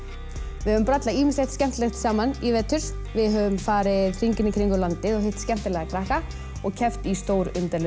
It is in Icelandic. við höfum brallað ýmislegt skemmtilegt saman í vetur við höfum farið hringinn í kringum landið og hitt skemmtilega krakka og keppt í